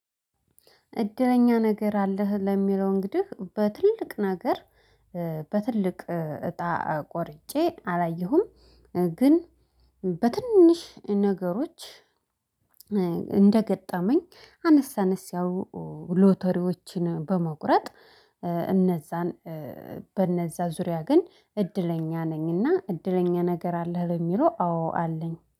እድለኛ ነገር አለህ? ለሚለው እንግዲህ በትልቅ ነገር በትልቅ እጣ ቆርጬ አላየሁም። ግን በትንሽ ነገሮች እንደገጠመኝ አነስ አነስ ያሉ ሎተሪዎችን በመቁረጥ እነዛን በእነዛ ዙሪያ ግን እድለኛ ነኝና እድለኛ ነገር አለህ ለሚለው አዎ አለኝ።